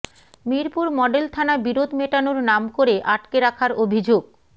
Mirpur model থানা বিরোধ মেটানোর নাম করে আটকে রাখার অভিযোগ